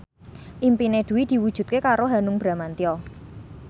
impine Dwi diwujudke karo Hanung Bramantyo